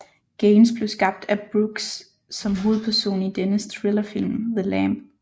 Gaines blev skabt af Brooks som hovedperson i dennes thrillerfilm The Lamb